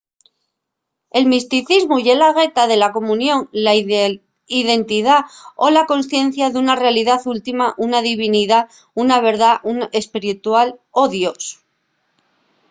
el misticismu ye la gueta de la comunión la identidá o la consciencia d’una realidá última una divinidá una verdá espiritual o dios